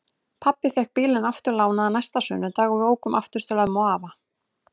Pabbi fékk bílinn aftur lánaðan næsta sunnudag og við ókum aftur til ömmu og afa.